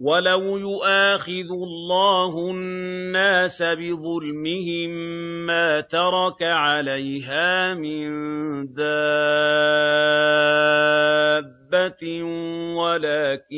وَلَوْ يُؤَاخِذُ اللَّهُ النَّاسَ بِظُلْمِهِم مَّا تَرَكَ عَلَيْهَا مِن دَابَّةٍ وَلَٰكِن